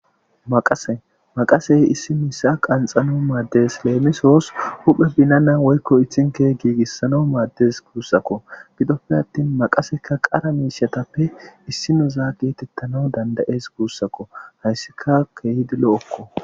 Maaqase maaqasey issi miishsha qanxanaw maaddes leemisoos huphphe binana woykko ithike giigissanw maaddes guussakko giddoppe attin maaqasekka qara miishshatappe issineza geetettanaw danddayees guussakko hayssika keehidi lo'okko